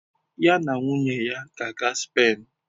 Ya na nwunye di ya ga-aga Spen.